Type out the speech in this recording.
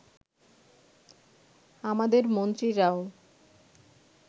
আমাদের মন্ত্রীরাও